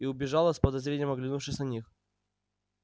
и убежала с подозрением оглянувшись на них